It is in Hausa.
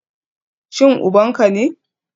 Shin uban ka ne?